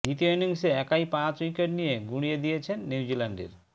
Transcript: দ্বিতীয় ইনিংসে একাই পাঁচ উইকেট নিয়ে গুঁড়িয়ে দিয়েছেন নিউজিল্যান্ডের